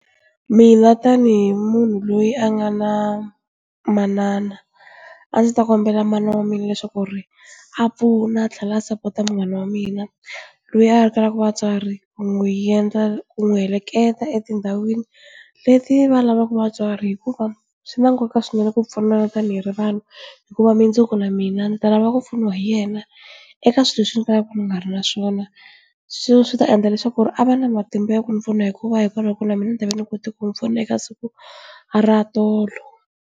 Mina tanihi munhu loyi a nga na manana a ndzi ta kombela mana wa mina leswaku ri a pfuna tlhela support munghana wa mina loyi a kalaka vatswari ku n'wi endla ku n'wi heleketa etindhawini leti va lavaka vatswari hikuva swi na nkoka swinene ku pfunana tani hi ri vanhu hikuva mundzuku na mina ni ta lava ku pfuniwa hi yena eka swilo leswi ni kalaka ni nga ri na swona swi ta endla leswaku ku ri a va na matimba ya ku ni pfuna hikuva hikwalaho loko na mina ni tava ni kote ku ni pfuna eka siku ra tolo.